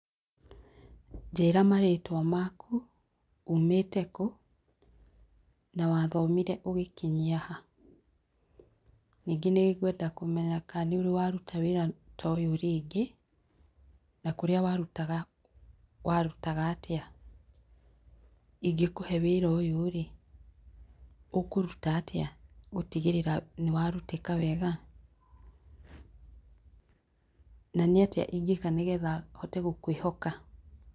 Njĩra marĩtwa maku, ũmĩte kũ na wathomire ũgĩkinyia ha. Ningĩ nĩngwenda kũmenya kana nĩũrĩ waruta wĩra ta ũyũ rĩngĩ, na kũrĩa warutaga warutaga atia, ingĩkũhe wĩra ũyũ rĩ, ũkũũruta atia, gũtigĩrĩra atĩ nĩwarutĩka wega? na nĩatĩa ingĩka nĩgetha hote gũkwĩhoka?